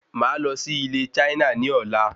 Má lọ sí ilé Chaina ní ọ̀la